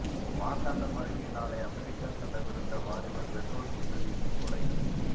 மார்த்தாண்டம் அருகே நாளை அமெரிக்கா செல்லவிருந்த வாலிபர் பெட்ரோல் குண்டுவீசி கொலை